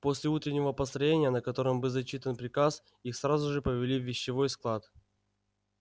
после утреннего построения на котором был зачитан приказ их сразу же повели в вещевой склад